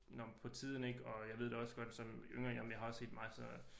Nåh men på tiden ik og jeg ved da også godt som yngre jeg har også set meget af sådan noget